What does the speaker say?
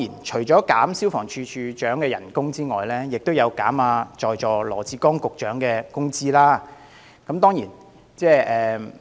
除了削減消防處處長的薪酬外，修正案亦要求削減在座羅致光局長的薪酬。